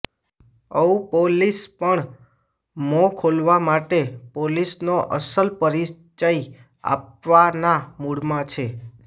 ઔપોલીસ પણ મોં ખોલાવવા માટે પોલીસનો અસલ પરિચય આપવાના મુડમાં છે